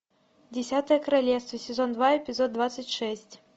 десятое королевство сезон два эпизод двадцать шесть